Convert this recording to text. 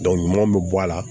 ɲumanw be bɔ a la